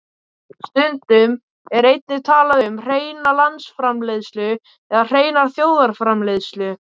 Stundum er einnig talað um hreina landsframleiðslu eða hreina þjóðarframleiðslu.